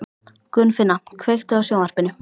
Gunnfinna, kveiktu á sjónvarpinu.